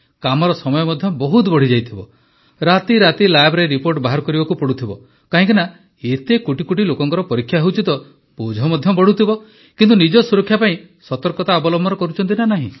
କାମର ସମୟ ମଧ୍ୟ ବହୁତ ବଢ଼ିଯାଇଥିବ ରାତିରାତି ଲ୍ୟାବ ରିପୋର୍ଟ ବାହାର କରିବାକୁ ପଡ଼ୁଥିବ କାହିଁକି ନା ଏତେ କୋଟିକୋଟି ଲୋକଙ୍କ ପରୀକ୍ଷା ହେଉଛି ତ ବୋଝ ମଧ୍ୟ ବଢ଼ୁଥିବ କିନ୍ତୁ ନିଜ ସୁରକ୍ଷା ପାଇଁ ସତର୍କତା ଅବଲମ୍ବନ କରୁଛନ୍ତି ନା ନାହିଁ